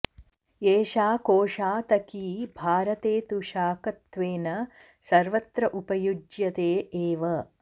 एषा कोशातकी भारते तु शाकत्वेन सर्वत्र उपयुज्यते एव